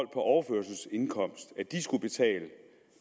overførselsindkomst skulle betale